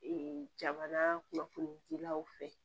jamana kunnafoni jilaw fɛ